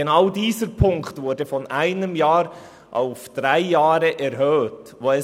Genau in diesem Punkt wurde beschlossen, die Sanktion von einem Jahr auf drei Jahre zu erhöhen.